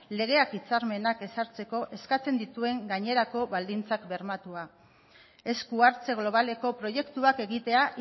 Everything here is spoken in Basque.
legeak hitzarmenak ezartzeko eskatzen dituen gainerako baldintzak bermatua esku hartze globaleko proiektuak egitea